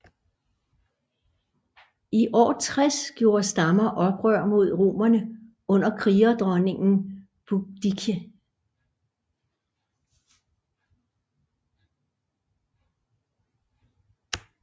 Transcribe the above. I år 60 gjorde stammer oprør mod romerne under krigerdronningen Boudicca